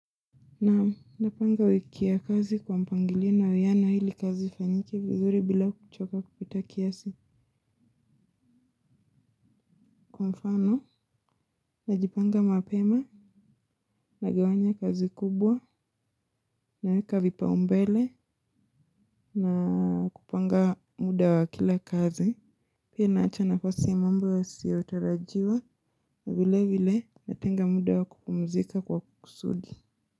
Naam napanga wiki ya kazi kwa mpangilio na uwiano ili kazi ifanyike vizuri bila kuchoka kupita kiasi. Kwa mfano, najipanga mapema, nagawanya kazi kubwa, naweka vipaumbele, na kupanga muda wa kila kazi. Pia naacha nafasi ya mambo yaiso tarajiwa, na vile vile natenga muda wa kupumzika kwa kusudi.